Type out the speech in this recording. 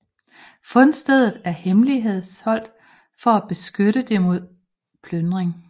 Fundstedet er hemmeligholdt for at beskytte det mod plyndring